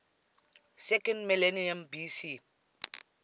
second millennium bc